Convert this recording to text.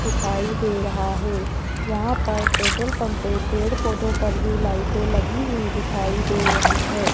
दिखाई दे रहा है यहां पर पेट्रोल पंप पे पेड़ पौधों पर भी लाइटें लगी हुई दिखाई दे रही है।